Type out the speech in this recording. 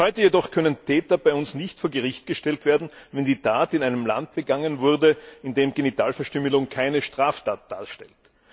Bis heute jedoch können Täter bei uns nicht vor Gericht gestellt werden, wenn die Tat in einem Land begangen wurde, in dem Genitalverstümmelung keine Straftat darstellt.